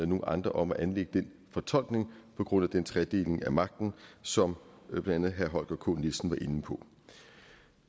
nogle andre om at anlægge den fortolkning på grund af den tredeling af magten som blandt andet herre holger k nielsen var inde på